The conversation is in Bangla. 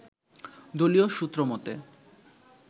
দলীয় সূত্রমতে